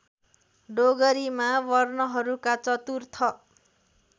डोगरीमा वर्णहरूका चतुर्थ